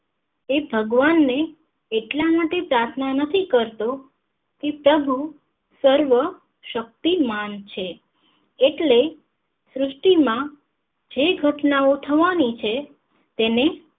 એ ભગવાન ને એટલા માટે પ્રાર્થના નથી કરતો કે તેઓ સર્વ શક્તિમાન છે એટલે સૃષ્ટિ માં જે ઘટનાઓ થવાની છે તેને